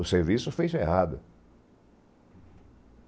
O serviço fez errado.